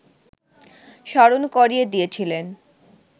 স্মরণ করিয়ে দিয়েছিলেন